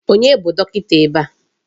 Onye bụ dọkịta ebe a?